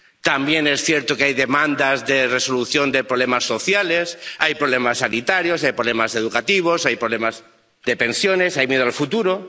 También es cierto que hay demandas de resolución de problemas sociales, hay problemas sanitarios, hay problemas educativos, hay problemas de pensiones, hay miedo al futuro.